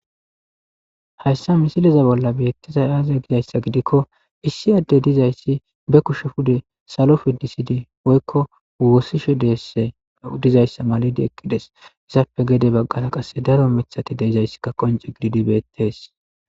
hayssa misiliza bolla beettizay aazee gizayssa gidikko issi adde dizayssi be kushe pude salo fidisidi woykko woossishe deesse dizayssa malidi eqqides izappe gede baggara qasse daro mithati de7izayssikka qonce gididi beettees